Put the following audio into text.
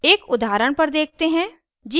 एक उदाहरण पर देखते हैं